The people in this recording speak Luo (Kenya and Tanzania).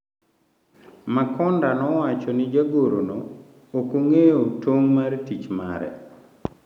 Makonda nowacho ni jagorno ok ong’eyo tong' mar tich mare.